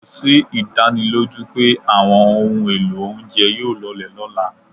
Kò sí ìdánilójú pé àwọn ohun èlò oúnjẹ yóò lọlẹ̀ lọ́la.